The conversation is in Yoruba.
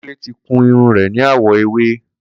Kunle ti kún irún rẹ ni àwọ éwé